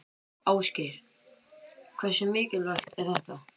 Ásgeir: Hversu mikilvægt er þetta?